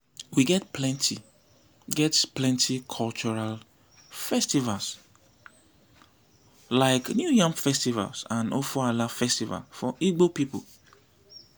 we get plenty get plenty cultural festivals like new yam festival and ofoala festival for igbo people.